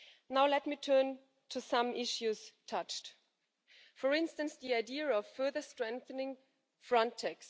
Now let me turn to some of the issues touched upon, for instance, the idea of further strengthening Frontex.